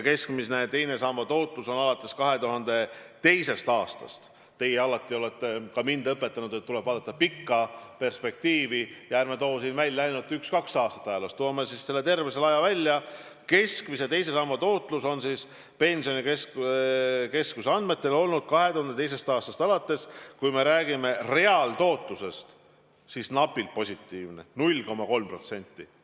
Keskmine teise samba tootlus on alates 2002. aastast – teie alati olete ka mind õpetanud, et tuleb vaadata pikka perspektiivi, ja ärme siis toome siin välja ainult üks-kaks aastat ajaloost, toome terve selle aja välja – Pensionikeskuse andmetel olnud, kui me räägime reaaltootlusest, napilt positiivne: 0,3%.